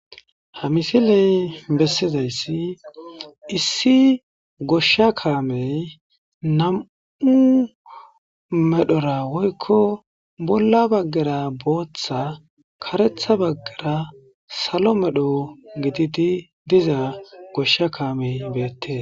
ha misiley bessizayssi issi goshsha kaamey nam7u medhora woykko bolla baggera booththa karetha baggera salo medho gididi diza goshsha kaamey beettee